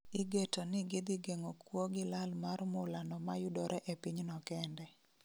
Igeto ni gidhigeng'o kuo gi lal mar mula no mayudore e piny no kende